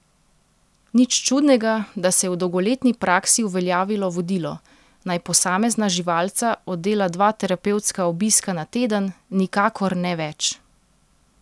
Nič čudnega, da se je v dolgoletni praksi uveljavilo vodilo, naj posamezna živalca oddela dva terapevtska obiska na teden, nikakor ne več.